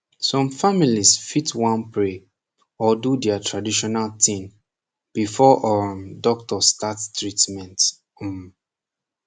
some families fit want to pray or do dia traditional tin befor um doctor start treatment um